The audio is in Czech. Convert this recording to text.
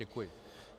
Děkuji.